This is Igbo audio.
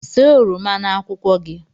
See oroma na akwụkwọ gị